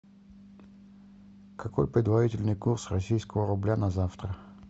какой предварительный курс российского рубля на завтра